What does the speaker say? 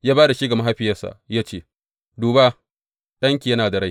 Ya ba da shi ga mahaifiyarsa, ya ce, Duba, ɗanki yana da rai!